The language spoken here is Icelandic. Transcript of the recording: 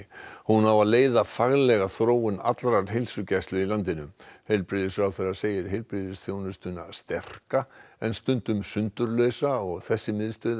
hún á að leiða faglega þróun allrar heilsugæslu í landinu heilbrigðisráðherra segir heilbrigðisþjónustuna sterka en stundum sundurlausa og þessi miðstöð